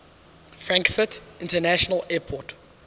frankfurt international airport